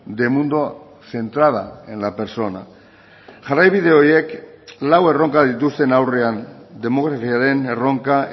de mundo centrada en la persona jarraibide horiek lau erronka dituzten aurrean demografiaren erronka